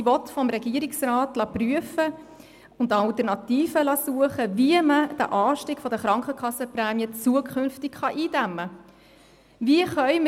Sie will vom Regierungsrat prüfen und Alternativen suchen lassen, wie man den Anstieg der Krankenkassenprämie zukünftig eindämmen kann.